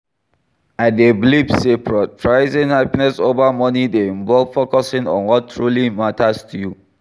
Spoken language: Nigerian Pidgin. I dey believe say prioritizing happiness over money dey involve focusing on what truly matters to you.